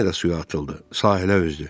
O yenə də suya atıldı, sahilə üzdü.